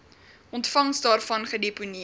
ontvangs daarvan gedeponeer